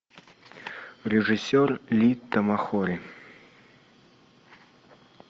режиссер ли тамахори